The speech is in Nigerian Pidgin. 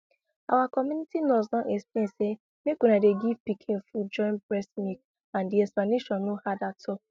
our community nurse don explain say make una dey give pikin food join breast milk and the explanation no hard at all